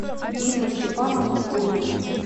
инну степановну коневу